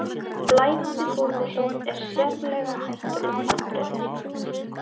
Blæðandi bólusótt er sérlega hættulegt afbrigði.